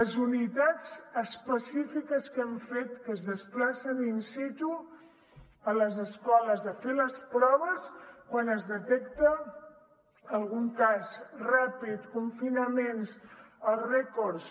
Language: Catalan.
les unitats específiques que hem fet que es desplacen in situ a les escoles a fer les proves quan es detecta algun cas ràpid confinaments